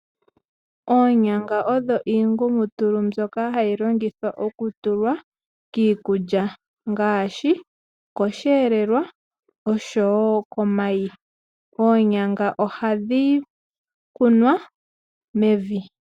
Oonyanga odho iingumutulu mbyoka hayi longithwa okutulwa kiikulya ngaashi, okoshihelelwa, osho wo komayi. Oonyanga ohadhi kunwa mevi.